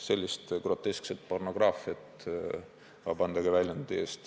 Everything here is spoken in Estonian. Sellist groteskset pornograafiat – vabandage väljendi eest!